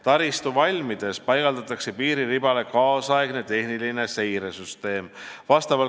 Taristu valmides paigaldatakse piiriribale nüüdisaegne tehnilise seire süsteem.